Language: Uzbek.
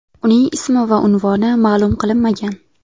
Uning ismi va unvoni ma’lum qilinmagan.